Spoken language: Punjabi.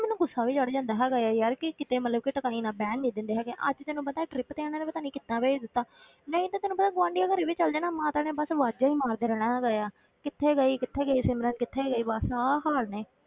ਮੈਨੂੰ ਗੁੱਸਾ ਵੀ ਚੜ੍ਹ ਜਾਂਦਾ ਹੈਗਾ ਹੈ ਯਾਰ ਕਿ ਕਿਤੇ ਮਤਲਬ ਕਿ ਬਹਿਣ ਨੀ ਦਿੰਦੇ ਹੈਗੇ, ਅੱਜ ਤੈਨੂੰ ਪਤਾ trip ਤੇ ਇਹਨਾਂ ਨੇ ਪਤਾ ਨੀ ਕਿੱਦਾਂ ਭੇਜ ਦਿੱਤਾ ਨਹੀਂ ਤਾਂ ਤੈਨੂੰ ਪਤਾ ਗੁਆਂਢੀਆਂ ਘਰੇ ਵੀ ਚਲੇ ਜਾ ਨਾ ਮਾਤਾ ਨੇ ਬਸ ਆਵਾਜ਼ਾਂ ਹੀ ਮਾਰਦੇ ਰਹਿਣਾ ਹੈਗਾ ਆ, ਕਿੱਥੇ ਗਈ ਕਿੱਥੇ ਗਈ ਸਿਮਰਨ ਕਿੱਥੇ ਗਈ ਬਸ ਆਹ ਹਾਲ ਨੇ।